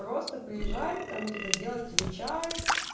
просто приезжать там тебе делают тебе чай